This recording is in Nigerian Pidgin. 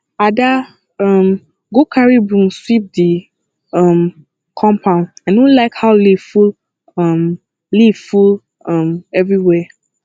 ada um go carry broom sweep the um compound i no like how leaf full um leaf full um everywhere